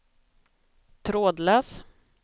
trådlös